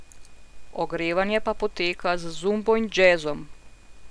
Ogrevanje pa poteka z zumbo in džezom.